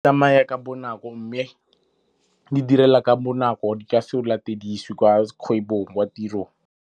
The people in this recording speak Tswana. Tsamaya ka bonako mme di direla ka bonako. Di ka se go latedise kwa kgwebong, kwa tirong.